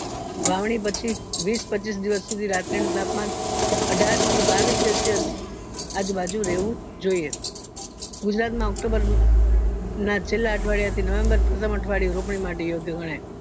વાવણી પછી વિશ પચીસ દિવસ સુધી રાત્રિનું તાપમાન અઠાર થી બાવીસ celsius અજુ બાજુ રહેવું જોઈએ ગુજરાત ના ના છેલા અઠવાડિયા થી november ચોથામ અઠવાડિયું રોપણી માટે યોગ્ય ગણાય